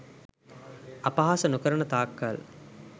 අපහාස නොකරන තාක් කල්